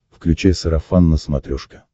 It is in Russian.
включай сарафан на смотрешке